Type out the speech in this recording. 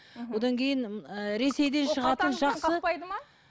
мхм одан кейін ііі ресейден шығатын жақсы